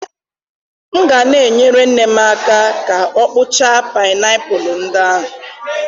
M ga na-enyere nne m aka ka ọ kpụchaa painiapulu ndị ahụ.